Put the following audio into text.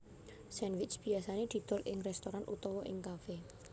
Sandwich biasane didol ing restoran utawa ing cafe